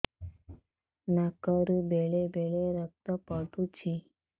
ନାକରୁ ବେଳେ ବେଳେ ରକ୍ତ ପଡୁଛି